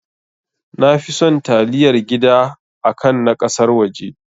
Nafi son taliyar gida akan na ƙasar waje